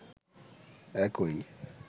একই